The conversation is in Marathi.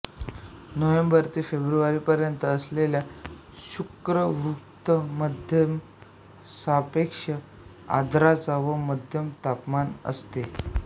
नोव्हेंबर ते फेब्रुवारीपर्यंत असलेल्या शुष्क ऋतूत मध्यम सापेक्ष आर्द्रता व मध्यम तापमान असते